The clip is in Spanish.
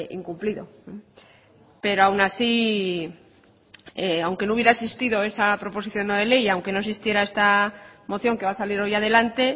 incumplido pero aún así aunque no hubiera existido esa proposición no de ley y aunque no existiera esta moción que va a salir hoy adelante